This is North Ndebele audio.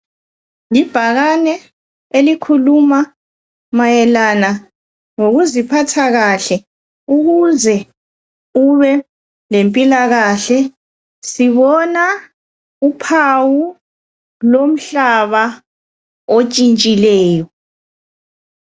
Ibhakane elikhuluma mayelana ngokuziphatha kahle ukuze ube lempilakahle sibona uphawu lomhlaba otshintshileyo